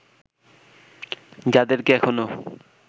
যাদেরকে এখনও